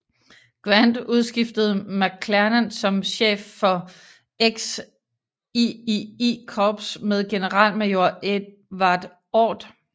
Grant udskiftede McClernand som chef for XIII Korps med generalmajor Edward Ord